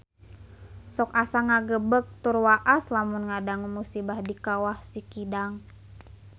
Sok asa ngagebeg tur waas lamun ngadangu musibah di Kawah Sikidang